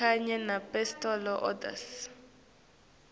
kanye nemapostal orders